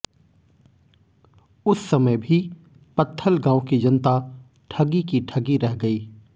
उस समय भी पत्थलगांव की जनता ठगी की ठगी रह गई